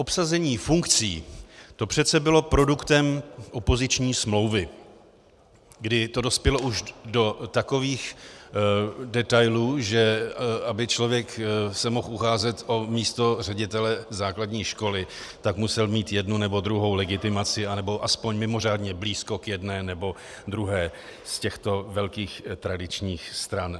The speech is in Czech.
Obsazení funkcí, to přece bylo produktem opoziční smlouvy, kdy to dospělo už do takových detailů, že aby se člověk mohl ucházet o místo ředitele základní školy, tak musel mít jednu nebo druhou legitimaci anebo aspoň mimořádně blízko k jedné nebo druhé z těchto velkých tradičních stran.